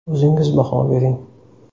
O‘zingiz baho bering.